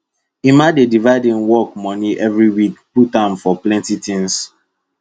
emma dey divide im work moni every week put am for plenty tins